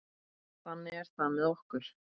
Þannig er það með okkur.